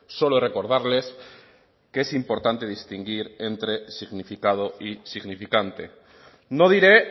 solo recordarles que es importante distinguir entre significado y significante no diré